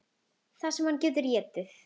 Það sem hann getur étið!